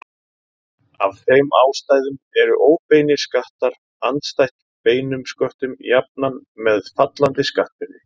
Af þeim ástæðum eru óbeinir skattar andstætt beinum sköttum jafnan með fallandi skattbyrði.